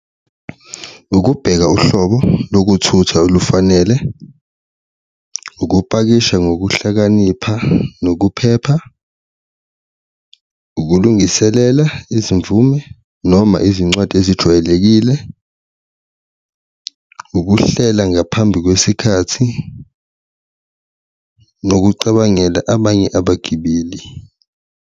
Ukubheka uhlobo lokuthutha olufanele, ukupakisha ngokuhlakanipha nokuphepha, ukulungiselela izimvume noma izincwadi ezijwayelekile, ukuhlela ngaphambi kwesikhathi, nokucabangela abanye abagibeli.